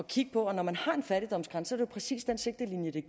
kigge på at når man har en fattigdomsgrænse er det jo præcis den sigtelinje det